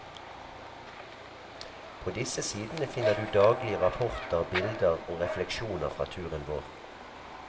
På disse sidene finner du daglige rapporter, bilder og refleksjoner fra turen vår.